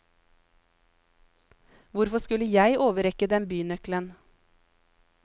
Hvorfor skulle jeg overrekke dem bynøkkelen?